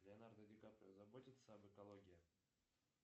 леонардо ди каприо заботится об экологии